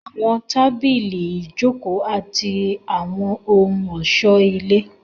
Àwọn tábìlì, ìjòkó àti àwọn ohun ọ̀ṣọ́ ilé